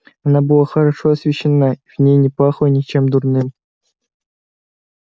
она была хорошо освещена и в ней не пахло ничем дурным